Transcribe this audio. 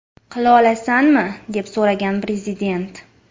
Qila olasanmi?” deb so‘ragan Prezident.